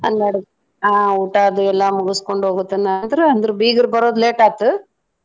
ಹನ್ನೆರಡ್ ಆ ಊಟಾದು ಎಲ್ಲಾ ಮುಗುಸ್ಕೊಂಡ್ ಹೋಗೊ ತನಾ ಆದ್ರೂ ಅಂದ್ರು ಬೀಗ್ರ್ ಬರೋದ್ late ಆತ್.